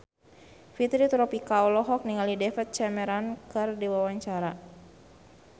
Fitri Tropika olohok ningali David Cameron keur diwawancara